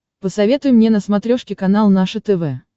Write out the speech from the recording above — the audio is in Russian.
посоветуй мне на смотрешке канал наше тв